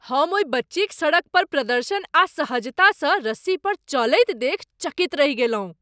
हम ओहि बच्चीक सड़क पर प्रदर्शन आ सहजतासँ रस्सी पर चलैत देखि चकित रहि गेलहुँ ।